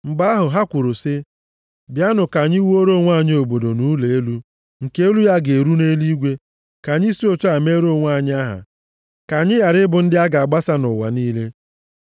Mgbe ahụ, ha kwuru sị, “Bịanụ ka anyị wuore onwe anyị obodo na ụlọ elu, nke elu ya ga-eru nʼeluigwe, ka anyị si otu a meere onwe anyị aha, ka anyị ghara ịbụ ndị a ga-agbasa nʼụwa niile.”